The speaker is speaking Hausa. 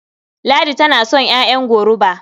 Ladi tana son ƴaƴan goruba.